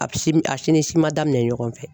A bi sim a si ni si ma daminɛ ɲɔgɔn fɛ.